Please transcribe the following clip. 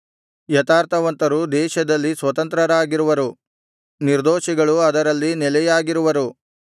ಯಥಾರ್ಥವಂತರು ದೇಶದಲ್ಲಿ ಸ್ವತಂತ್ರರಾಗಿರುವರು ನಿರ್ದೋಷಿಗಳು ಅದರಲ್ಲಿ ನೆಲೆಯಾಗಿರುವರು